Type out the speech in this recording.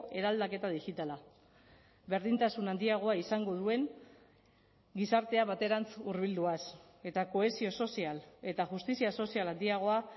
eraldaketa digitala berdintasun handiagoa izango duen gizartea baterantz hurbilduaz eta kohesio sozial eta justizia sozial handiagoa